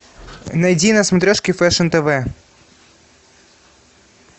найди на смотрешке фэшн тв